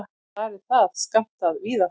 Þar er það skammtað víða.